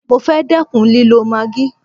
Mo fẹ́ dẹ́kun lílọ maagí.